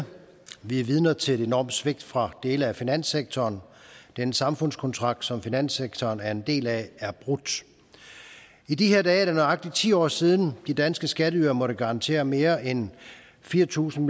vi er vidner til et enormt svigt fra dele af finanssektoren den samfundskontrakt som finanssektoren er en del af er brudt i de her dage er det nøjagtig ti år siden de danske skatteydere måtte garantere mere end fire tusind